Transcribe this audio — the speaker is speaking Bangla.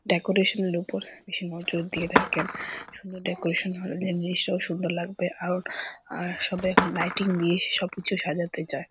ডেকোরেশন এর ওপর বেশি নজর দিয়ে থাকেন। সুন্দর ডেকোরেশন হলে জিনিসটাও সুন্দর লাগবে। আর আর সবাই এখন লাইটিং দিয়ে সবকিছু সাজাতে চয়।